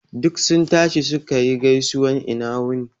Duk sun tashi suka yi gaisuwan ina wuni